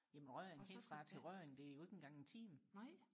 jamen Rødding bare til Rødding det er jo ikke engang en time